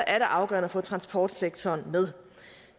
er det afgørende at få transportsektoren med